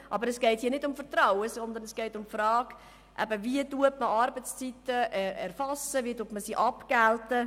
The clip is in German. Aber es geht hier nicht um Vertrauen, sondern um die Frage, wie man Arbeitszeiten erfasst und abgilt.